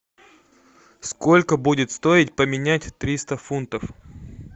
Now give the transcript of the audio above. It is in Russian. сколько будет стоить поменять триста фунтов